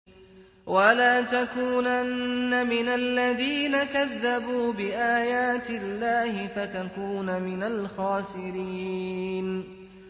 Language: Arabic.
وَلَا تَكُونَنَّ مِنَ الَّذِينَ كَذَّبُوا بِآيَاتِ اللَّهِ فَتَكُونَ مِنَ الْخَاسِرِينَ